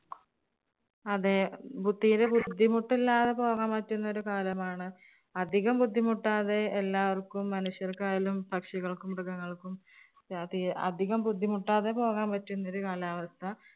അതേ, തീരെ ബുദ്ധിമുട്ടില്ലാതെ പോകാൻ പറ്റുന്ന ഒരു കാലമാണ്. അധികം ബുദ്ധിമുട്ടാതെ എല്ലാവർക്കും മനുഷ്യർക്കായാലും, പക്ഷികൾക്കും, മൃഗങ്ങൾക്കും അധികം ബുദ്ധിമുട്ടാതെ പോകാൻ പറ്റുന്ന ഒരു കാലാവസ്ഥ